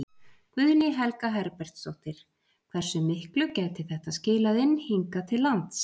Guðný Helga Herbertsdóttir: Hversu miklu gæti þetta skilað inn hingað til lands?